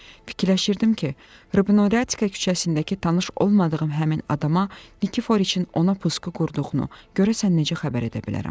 Fikirləşirdim ki, Rabinoritsa küçəsindəki tanış olmadığım həmin adama Nikiforiçin ona pusqu qurduğunu görəsən necə xəbər edə bilərəm?